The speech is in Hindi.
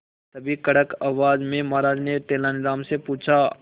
तभी कड़क आवाज में महाराज ने तेनालीराम से पूछा